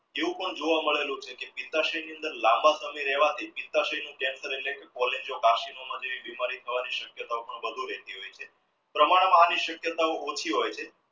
એવું પણ જોવા મેડલું છે કે લાંબા સમય રહવા થી બીમારી થવાની સક્યતાવો પણ વધુ રહતી હોય છે પ્રમાણમા ની સક્યાતાઓ ઓછી હોય છે